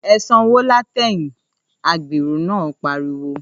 ‘E̩ sanwó látè̩yìn!’ agbèrò náà pariwo